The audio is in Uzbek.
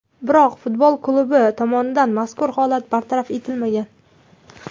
Biroq futbol klubi tomonidan mazkur holat bartaraf etilmagan.